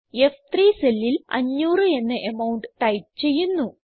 F3സെല്ലിൽ 500 എന്ന amount type ചെയ്യുന്നു